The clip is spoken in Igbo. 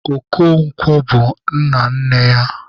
Okonkwo bụ nna nne ya.